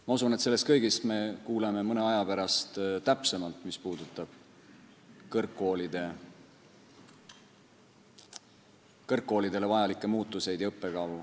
Ma usun, et mis puudutab kõrgkoolidele vajalikke muutusi ja õppekavu, siis sellest kõigest me kuuleme mõne aja pärast täpsemalt.